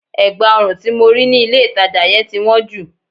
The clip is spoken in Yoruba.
Ẹ̀gbá ọrùn tí mo rí ní ilé ìtajà yẹn ti wọ́n jù.